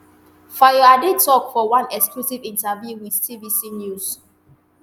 fayoade tok for one exclusive interview wit tvc news